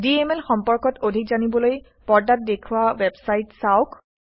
DMLসম্পৰ্কত অধিক জানিবলৈ পৰ্দাত দেখুওৱা ৱেবচাইট চাওক